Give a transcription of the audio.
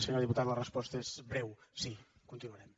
senyor diputat la resposta és breu sí continuarem